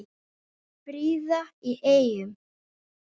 Fríða í Eyjum